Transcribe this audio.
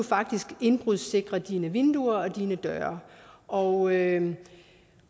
faktisk kan indbrudssikre sine vinduer og døre og